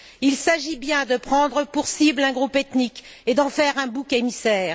Il s'agit bien de prendre pour cible un groupe ethnique et d'en faire un bouc émissaire.